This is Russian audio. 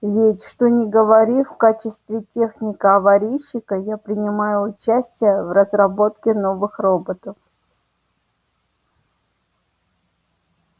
ведь что ни говори в качестве техника-аварийщика я принимаю участие в разработке новых роботов